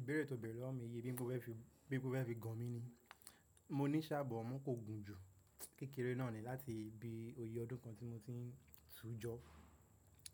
Ìbéèrè tó bẹ̀rẹ̀ lọ́wọ́ mi yi bí po fẹ́ fi, bí po fẹ́ fi gan mí ni. Mo ní sá bọ amọ kó gùn jù. Kékèrè náà ni láti bí oyè ọdún kan tí mo ti ń tújọ.